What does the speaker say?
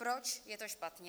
Proč je to špatně?